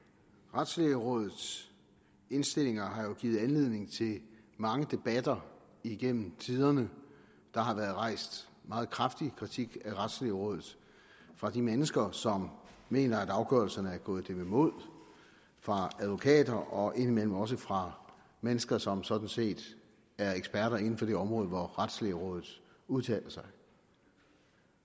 retslægerådets indstillinger har jo givet anledning til mange debatter igennem tiderne der har været rejst meget kraftig kritik af retslægerådet fra de mennesker som mener at afgørelserne er gået dem imod fra advokater og indimellem også fra mennesker som sådan set er eksperter inden for det område hvor retslægerådet udtaler sig